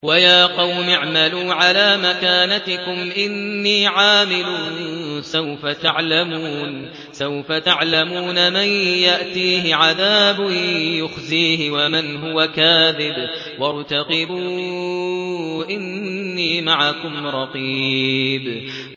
وَيَا قَوْمِ اعْمَلُوا عَلَىٰ مَكَانَتِكُمْ إِنِّي عَامِلٌ ۖ سَوْفَ تَعْلَمُونَ مَن يَأْتِيهِ عَذَابٌ يُخْزِيهِ وَمَنْ هُوَ كَاذِبٌ ۖ وَارْتَقِبُوا إِنِّي مَعَكُمْ رَقِيبٌ